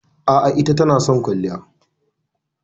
A'a, ita tana son kwalliya.